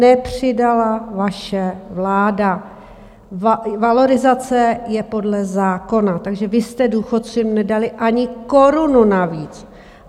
Nepřidala vaše vláda, valorizace je podle zákona, takže vy jste důchodcům nedali ani korunu navíc.